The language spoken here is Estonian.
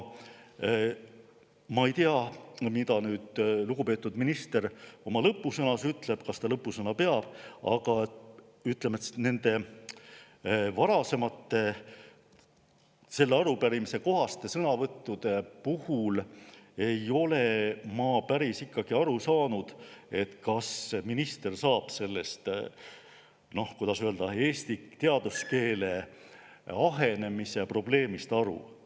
Ma ei tea, mida nüüd lugupeetud minister oma lõppsõnas ütleb või kas ta lõppsõna peab, aga varasemate sõnavõttude puhul selle arupärimise kohta ei ole ma ikkagi päris aru saanud, kas minister saab sellest eesti teaduskeele ahenemise probleemist aru.